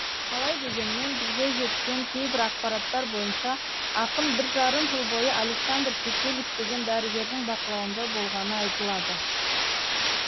қалай дегенмен бізге жеткен кейбір ақпараттар бойынша ақын бір жарым жыл бойы александр пекелис деген дәрігердің бақылауында болғаны айтылады